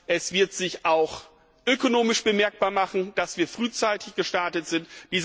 Es wird sich auch ökonomisch bemerkbar machen, dass wir frühzeitig gestartet sind.